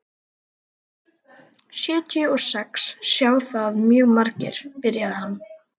Sjötíu og sex sjá það mjög margir, byrjaði hann.